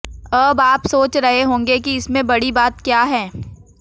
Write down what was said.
अब आप सोच रहे होंगे की इसमें बड़ी बात क्या है